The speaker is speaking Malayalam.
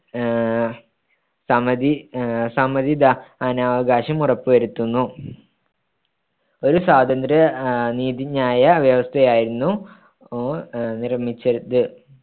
ആഹ് സമ്മതി ആഹ് സമ്മതിദാനാവകാശം ഉറപ്പ്‌ വരുത്തുന്നു ഒരു സ്വാതന്ത്ര്യനീതിന്യായ വ്യവസ്ഥയായിരുന്നു നിർമ്മിച്ചത്